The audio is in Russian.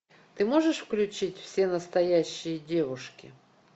ты можешь включить все настоящие девушки